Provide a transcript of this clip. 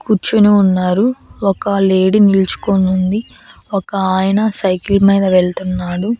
కూర్చుని ఉన్నారు ఒక లేడీ నిల్చుకోనుంది ఉంది ఒక ఆయన సైకిల్ మీద వెళ్తున్నాడు.